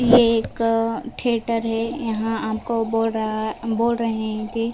यह एक अ थिएटर है यहां आपको बोल रहा है बोल रहे हैं कि ।